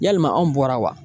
Yalima anw bɔra wa?